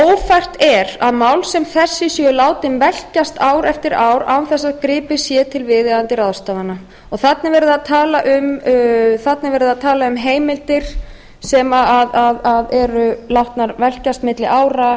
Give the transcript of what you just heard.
ófært er að mál sem þessi séu látin velkjast ár eftir ár án þess að gripið sé til viðeigandi ráðstafana þarna er verið að tala um heimildir sem eru látnar velkjast